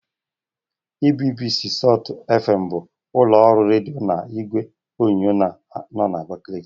EBBC salt FM bụ ụlọ ọrụ redio na igwe onyonyo na Abakaliki..